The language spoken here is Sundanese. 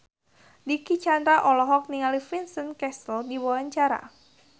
Dicky Chandra olohok ningali Vincent Cassel keur diwawancara